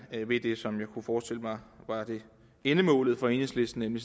vil det som jeg kunne forestille mig var endemålet for enhedslisten nemlig